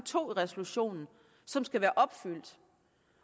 to i resolutionen som skal være opfyldt